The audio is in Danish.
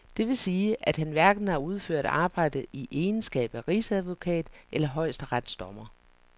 Det vil sige, at han hverken har udført arbejdet i egenskab af rigsadvokat eller højesteretsdommer?